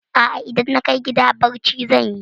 A'a, idan na kai gida barci zan yi.